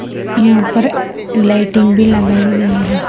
यहां पर लाइटिंग भी लगाई गई है।